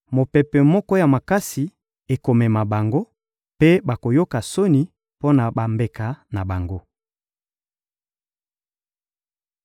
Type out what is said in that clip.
Mopepe moko ya makasi ekomema bango, mpe bakoyoka soni mpo na bambeka na bango.